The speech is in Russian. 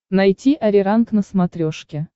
найти ариранг на смотрешке